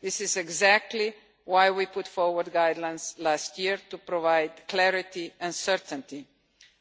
This is exactly why we put forward guidelines last year to provide clarity and certainty,